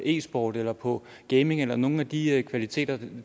e sport eller på gaming via nogle af de kvaliteter